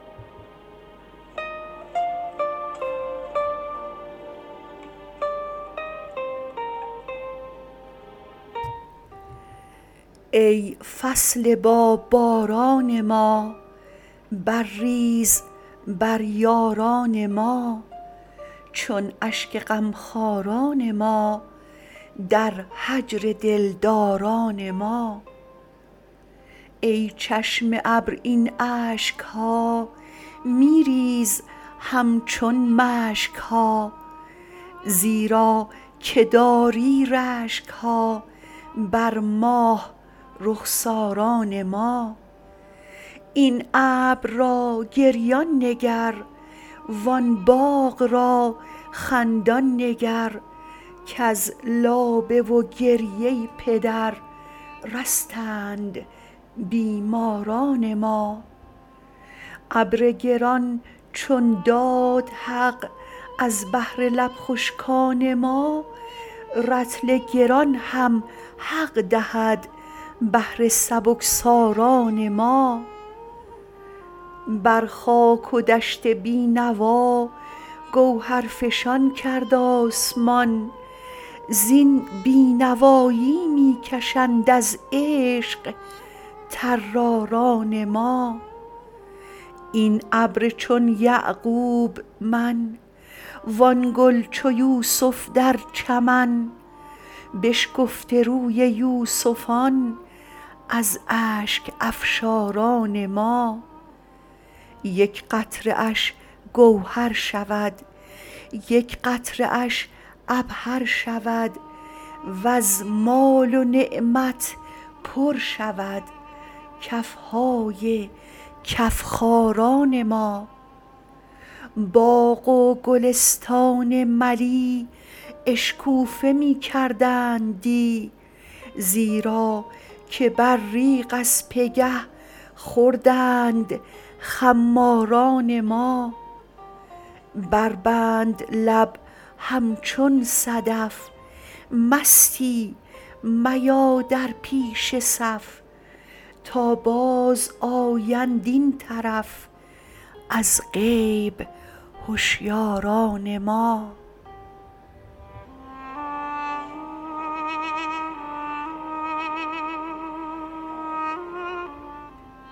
ای فصل باباران ما برریز بر یاران ما چون اشک غمخواران ما در هجر دلداران ما ای چشم ابر این اشک ها می ریز همچون مشک ها زیرا که داری رشک ها بر ماه رخساران ما این ابر را گریان نگر وان باغ را خندان نگر کز لابه و گریه پدر رستند بیماران ما ابر گران چون داد حق از بهر لب خشکان ما رطل گران هم حق دهد بهر سبکساران ما بر خاک و دشت بی نوا گوهرفشان کرد آسمان زین بی نوایی می کشند از عشق طراران ما این ابر چون یعقوب من وان گل چو یوسف در چمن بشکفته روی یوسفان از اشک افشاران ما یک قطره اش گوهر شود یک قطره اش عبهر شود وز مال و نعمت پر شود کف های کف خاران ما باغ و گلستان ملی اشکوفه می کردند دی زیرا که ابریق از پگه خوردند خماران ما بربند لب همچون صدف مستی میا در پیش صف تا بازآیند این طرف از غیب هشیاران ما